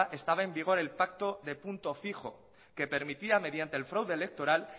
estaba en vigor el pacto de punto fijo que permitía mediante el fraude electoral